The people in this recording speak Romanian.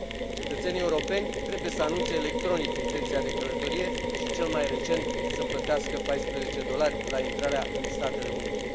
Cetățenii europeni trebuie să anunțe electronic intenția de călătorie și cel mai recent, să plătească 14 dolari la intrarea în Statele Unite.